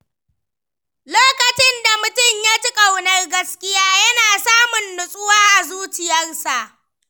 Lokacin da mutum ya ji ƙaunar gaskiya, yana samun natsuwa a zuciyarsa.